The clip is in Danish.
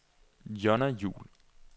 Jonna Juhl